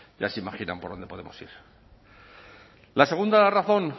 ya se imaginan por dónde podemos ir la segunda razón